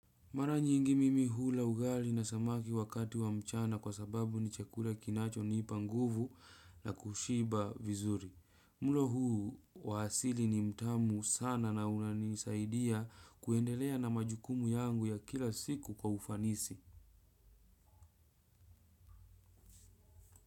Mara nyingi mimi hula ugali na samaki wakati wa mchana kwa sababu ni chakula kinacho ni panguvu na kushiba vizuri. Mulo huu wahasili ni mtamu sana na unanisaidia kuendelea na majukumu yangu ya kila siku kwa ufanisi.